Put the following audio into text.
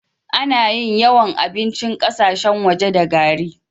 Ana yin yawan abincin ƙasashen wake da gari.